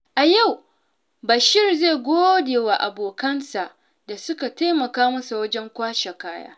A yau, Bashir zai gode wa abokansa da suka taimaka masa wajen kwashe kaya.